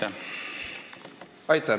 Aitäh!